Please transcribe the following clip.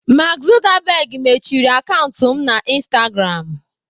Mark Zuckerberg mechiri akaụntụ m na instagram.